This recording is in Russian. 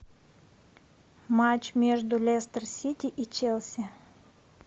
матч между лестер сити и челси